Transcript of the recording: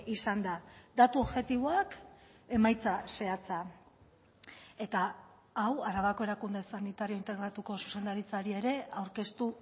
izan da datu objektiboak emaitza zehatza eta hau arabako erakunde sanitario integratuko zuzendaritzari ere aurkeztu